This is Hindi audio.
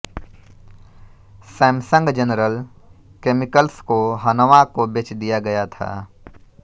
सैमसंग जनरल केमिकल्स को हनवा को बेच दिया गया था